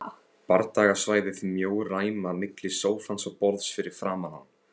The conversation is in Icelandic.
Bardagasvæðið mjó ræma milli sófans og borðs fyrir framan hann.